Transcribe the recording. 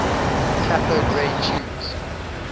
cathode ray tubes